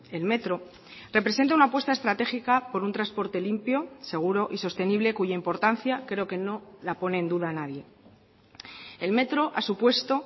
el metro representa una apuesta estratégica por un transporte limpio seguro y sostenible cuya importancia creo que no la pone en duda nadie el metro ha supuesto